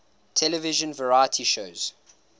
television variety shows